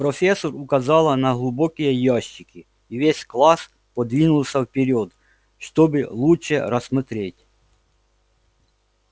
профессор указала на глубокие ящики и весь класс подвинулся вперёд чтобы лучше рассмотреть